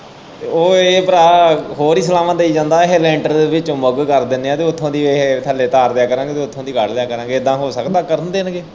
ਉਹ ਇਹ ਭਰਾ ਹੋਰ ਹੀ ਸਲਾਵਾਂ ਦੇਈ ਜਾਂਦਾ ਇਹ ਲੈਂਟਰ ਦੇ ਵਿੱਚੋ ਮੁੱਗ ਕਰ ਦੇਣੇ ਆ ਤੇ ਓਥੋਂ ਦੀ ਇਹ ਥੱਲੇ ਤਾਰ ਦਿਆਂ ਕਰਾਂਗੇ ਤੇ ਓਥੋਂ ਦੀ ਕੱਢ ਲਿਆ ਕਰਾਂਗੇ ਏਦਾਂ ਹੋ ਸਕਦਾ ਕਰਨ ਦੇਣਗੇ।